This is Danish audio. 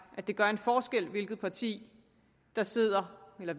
at det gør en forskel hvilke partier der sidder med